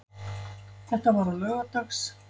Þetta var á laugardags